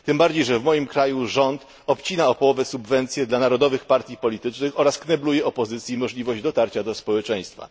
Tym bardziej, że w moim kraju rząd obcina o połowę subwencje dla narodowych partii politycznych oraz knebluje opozycji możliwość dotarcia do społeczeństwa.